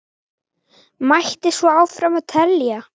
Mætti svo áfram telja.